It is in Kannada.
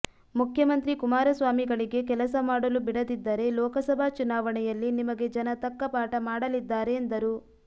ಮುಖ್ಯಮಂತ್ರಿ ಕುಮಾರ ಸ್ವಾಮಿಗಳಿಗೆ ಕೆಲಸ ಮಾಡಲು ಬಿಡದಿದ್ದರೆ ಲೋಕಸಭಾ ಚುನಾವಣೆಯಲ್ಲಿ ನಿಮಗೆ ಜನ ತಕ್ಕ ಪಾಠ ಮಾಡಲಿದ್ದಾರೆ ಎಂದರು